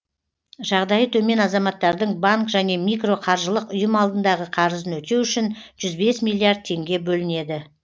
жағдайы төмен азаматтардың банк және микроқаржылық ұйым алдындағы қарызын өтеу үшін жүз бес миллиард теңге бөлінеді